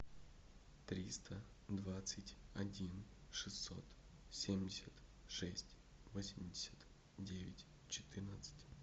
триста двадцать один шестьсот семьдесят шесть восемьдесят девять четырнадцать